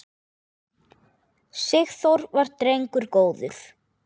Sigþór var drengur góður.